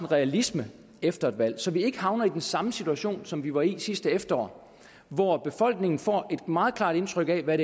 realisme efter et valg så vi ikke havner i den samme situation som vi var i sidste efterår hvor befolkningen får et meget klart indtryk af hvad